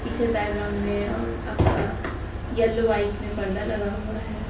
पीछे बैकग्राउंड में अह आपका येलो व्हाइट में पर्दा लगा हुआ है।